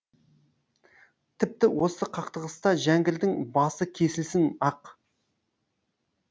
тіпті осы қақтығыста жәңгірдің басы кесілсін ақ